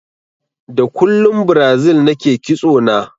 Da kullun Brazil nake ƙitso na